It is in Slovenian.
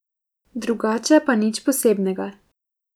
Drugače pa nič posebnega.